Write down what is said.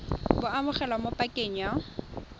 bo amogelwa mo pakeng ya